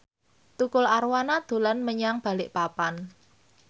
Tukul Arwana dolan menyang Balikpapan